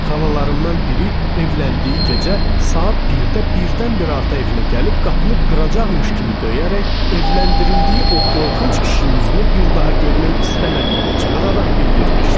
Xalalarımdan biri evləndiyi gecə saat 1-də birdən-birə ata evinə gəlib qapını qıracaqmış kimi döyərək evləndirildiyi o qorxunc kişinin üzünü bir daha görmək istəmədiyini çığıraraq bildirmişdi.